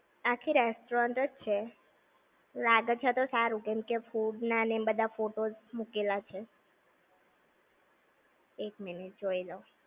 આખી restaurant જ છે. લાગે છે તો સારું, કેમ કે food ના ને બધા photos મુકેલા છે. એક minute જોઈ લવ